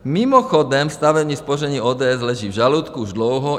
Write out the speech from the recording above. Mimochodem stavební spoření ODS leží v žaludku už dlouho.